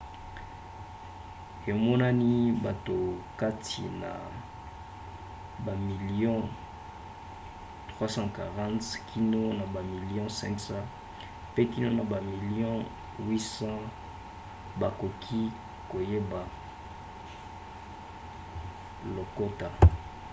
emonani bato kati na bamilio 340 kino na bamilio 500 pe kino na bato bamilio 800 bakoki koyeba lokota